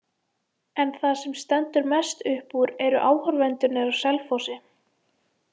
En það sem stendur mest upp úr eru áhorfendurnir á Selfossi.